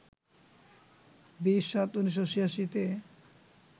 ২০-৭-১৯৮৬-তে